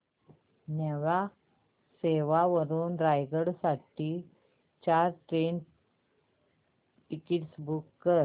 न्हावा शेवा वरून रायगड साठी चार ट्रेन टिकीट्स बुक कर